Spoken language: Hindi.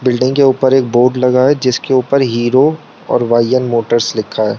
बिल्डिंग के ऊपर एक बोर्ड लगा है जीसके ऊपर हीरो और ओयई एन मोटर्स लिखा है।